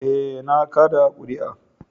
Eh, na kada kuri'a.